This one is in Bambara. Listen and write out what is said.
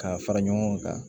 K'a fara ɲɔgɔn kan